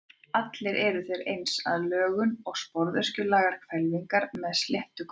Allir eru þeir eins að lögun, sporöskjulagaðar hvelfingar með sléttu gólfi.